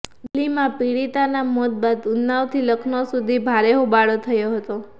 દિલ્હીમાં પીડિતાના મોત બાદ ઉન્નાવથી લખનૌ સુધી ભારે હોબાળો થયો હતો